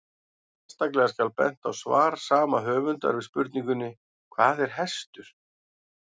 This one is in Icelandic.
Sérstaklega skal bent á svar sama höfundar við spurningunni Hvað er hestur?